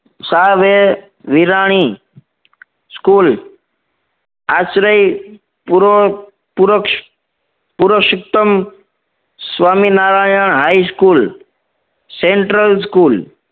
સાવે Virani school આશ્રય પૂર્વક Purushottam Swaminarayan high school central school